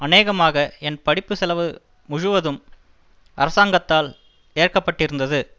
அநேகமாக என் படிப்புச்செலவு முழுவதும் அரசாங்கத்தால் ஏற்கப்பட்டிருந்தது